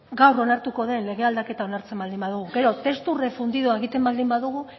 gaur onartuko den lege aldaketa onartzen baldin badugu gero testu refundido egiten baldin badugu